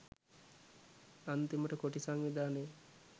අන්තිමට කොටි සංවිධානය